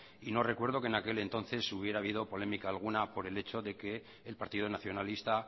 y no recuerdo que en aquel entonces hubiera habido polémica alguna por el hecho de que el partido nacionalista